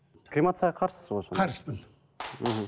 кремацияға қарсысыз ғой қарсымын мхм